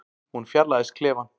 Hún fjarlægist klefann.